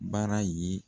Bara ye